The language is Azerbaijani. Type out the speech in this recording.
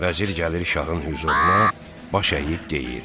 Vəzir gəlir şahın hüzuruna, baş əyib deyir: